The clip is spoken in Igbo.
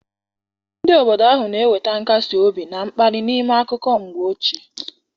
Ndị obodo ahụ na-enweta nkasi obi na mkpali n'ime akụkọ mgbe ochie.